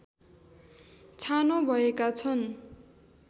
छानो भएका छन्